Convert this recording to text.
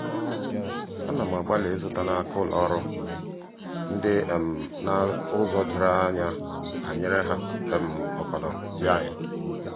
à nà m àgbàlị́ ị́zụ́ta n’áká ụ́lọ́ ọ́rụ́ ndị um nà-ụ́zọ́ doro anya banyere há um ọ́kọ́nọ́ yíné.